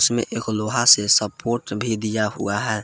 में एक लोहा से सपोर्ट भी दिया हुआ है।